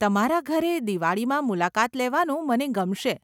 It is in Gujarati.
તમારા ઘરે દિવાળીમાં મુલાકાત લેવાનું મને ગમશે.